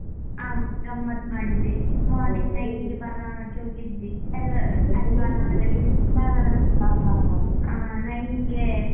ಹಾ ಗಮ್ಮತ್ ಮಾಡಿದ್ವಿ morning nine ಇಗೆ ಬಾಲವನಕ್ಕೆ ಹೋಗಿದ್ವಿ. ಎಲ್ಲ ಬಾಲವನ nine ಇಗೆ.